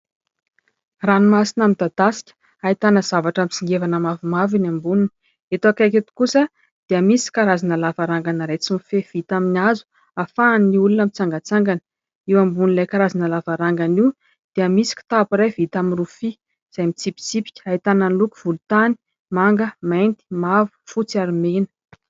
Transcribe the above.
Ranomasina midadasika ahitana zavatra mitsingevana mavomavo eny amboniny. Eto akaiky eto kosa dia misy karazana lavarangana iray tsy mifefy vita amin'ny hazo ahafahan'ny olona mitsangatsangana. Eo ambonin'ilay karazana lavarangana io dia misy kitapo iray vita amin'ny rofia izay mitsipitsipika ahitana ny loko volontany, manga, mainty, mavo, fotsy ary mena.